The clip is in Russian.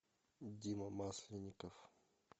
дима масленников